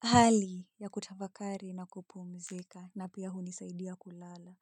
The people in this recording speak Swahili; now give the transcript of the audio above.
hali ya kutafakari na kupumzika na pia hunisaidia kulala.